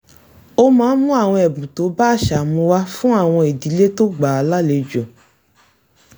ó máa ń mú àwọn ẹ̀bùn tó bá àṣà mu wá fún àwọn ìdílé tó gbà á lálejò